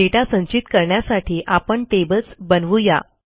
दाता संचित करण्यासाठी आपण टेबल्स बनवू या